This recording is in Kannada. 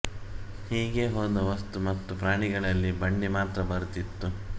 ಹೀಗೆ ಹೋದ ವಸ್ತು ಮತ್ತು ಪ್ರಾಣಿಗಳಲ್ಲಿ ಬಂಡಿ ಮಾತ್ರ ಬರುತ್ತಿತ್ತು